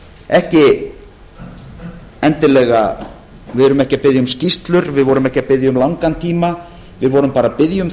ekki endilega við erum ekki að biðja um skýrslur við vorum ekki að biðja um langan tíma við vorum bara að biðja